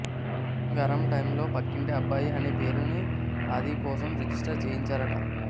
గరమ్ టైమ్లో పక్కింటి అబ్బాయి అనే పేరుని ఆది కోసం రిజిస్టర్ చేయించారట